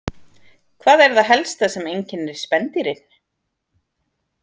Hvað er það helsta sem einkennir spendýrin?